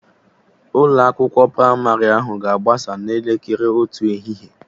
Ụlọ akwụkwọ pramarị ahụ ga-agbasa n'elekere otu ehihie